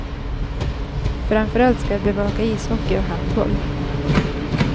Framförallt ska jag bevaka ishockey och handboll.